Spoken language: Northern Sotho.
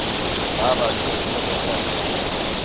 ba ba ba hlohleletšana go